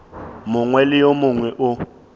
mongwe le yo mongwe o